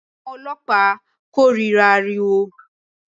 Àwọn ọlọ́pàá kórìíra ariwo